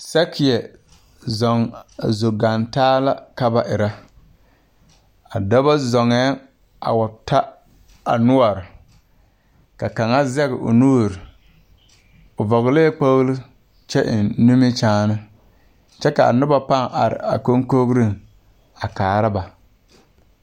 Sakeɛ zɔŋ zo gaŋ taa la ka ba erɛ. A dɔbɔ zɔŋɛɛŋ a wa ta a noɔre, ka kaŋa zɛŋ o nuuri. O vɔgelɛɛ kpogili kyɛ eŋ nimikyaane, kyɛ a noba pãã are a koŋkogiriŋ a kaara ba.